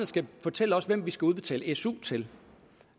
skal fortælle os hvem vi skal udbetale su til